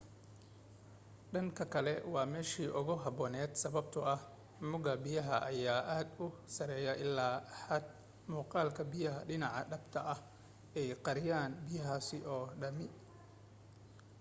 dhanka kale waa meeshii ugu habboonayd sababtoo ah mugga biyaha ayaa aad u sareeya illaa xad muuqaalka biya dhaca dhabta ah ay qariyaan biyahaas oo dhami